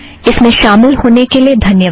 इसमें शामिल होने के लिए धन्यवाद